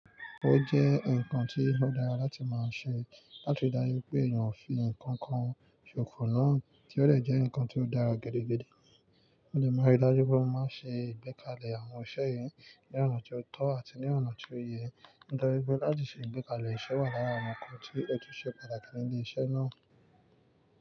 Ó jẹ́ nǹkan tí ó dára láti máa ṣe láti ri dájú pé èèyàn ò fi nǹkan kan ṣòfò náà tí ó dẹ̀ jẹ́ nǹkan tó dára gedegbede. Mo dẹ̀ máa ń ri dájú pé mo máa ń ṣe ìgbékalẹ̀ àwọn iṣẹ́ yìí ní ọ̀nà tó tọ́ àti ní ọ̀nà tó yẹ. Nítorí pé láti ṣe ìgbékalẹ̀ iṣẹ́ wà lára àwọn nǹkan tí ó tún ṣe pàtàkì ní ibiṣẹ́ náà.